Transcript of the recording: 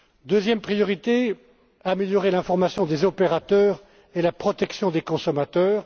Deuxième priorité améliorer l'information des opérateurs et la protection des consommateurs.